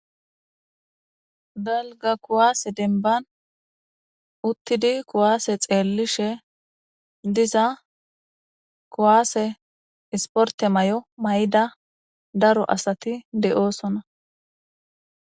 Dalgga kuwasse denbban uttidi kuwasse xellishe diza kuwasse isppartte mayo mayidda darro asatti de77ossona.